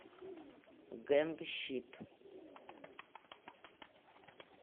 гэнгщит